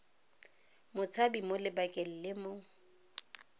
motshabi mo lebakeng le mo